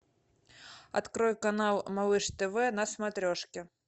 открой канал малыш тв на смотрешке